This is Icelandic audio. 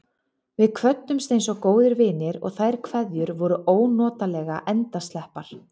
Við kvöddumst einsog góðir vinir, og þær kveðjur voru ónotalega endasleppar.